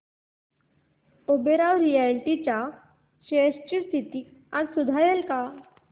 Oberoi realty च्या shares ची स्थिती आज सुधारेल का